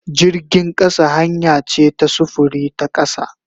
Jirgin kasa hanya ce ta sufuri ta kasa.